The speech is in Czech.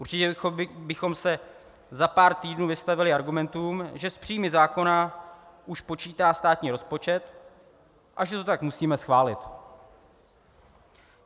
Určitě bychom se za pár týdnů vystavili argumentům, že s příjmy zákona už počítá státní rozpočet a že to tak musíme schválit.